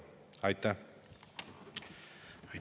Aitäh!